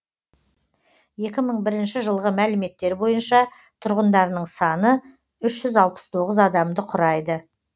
екеі мың бірінші жылғы мәліметтер бойынша тұрғындарының саны үш жүз алпыс тоғыз адамды құрайды